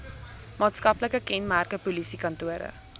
maatskaplike kenmerke polisiekantore